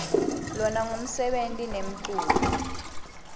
lona ngumsebeni nemculo